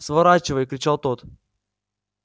сворачивай кричал тот